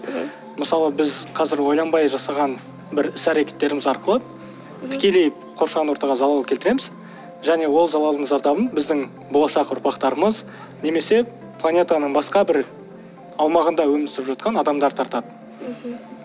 мысалы біз қазір ойланбай жасаған бір іс әрекеттеріміз арқылы тікелей қоршаған ортаға залал келтіреміз және ол залалдың зардабын біздің болашақ ұрпақтарымыз немесе планетаның басқа бір аумағында өмір сүріп жатқан адамдар тартады мхм